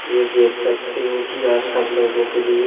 ये देख सकते हो कि आप सब लोगों के लिए--